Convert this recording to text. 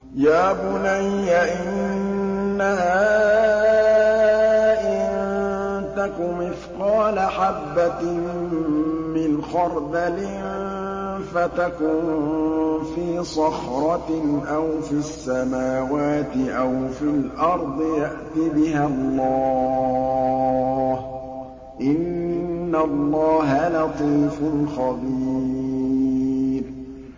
يَا بُنَيَّ إِنَّهَا إِن تَكُ مِثْقَالَ حَبَّةٍ مِّنْ خَرْدَلٍ فَتَكُن فِي صَخْرَةٍ أَوْ فِي السَّمَاوَاتِ أَوْ فِي الْأَرْضِ يَأْتِ بِهَا اللَّهُ ۚ إِنَّ اللَّهَ لَطِيفٌ خَبِيرٌ